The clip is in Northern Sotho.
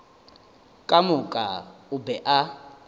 ka moka o be a